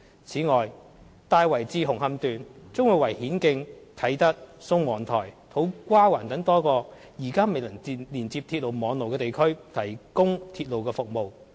此外，"大圍至紅磡段"將會為顯徑、啟德、宋皇臺和土瓜灣等多個現時未能連接鐵路網絡的地區提供鐵路服務。